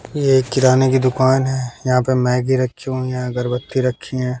ये किराने की दुकान है यहां पे मैगी रखी हुई हैं अगरबत्ती रखी है।